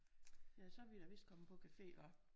Ja så er vi da vist kommet på café hva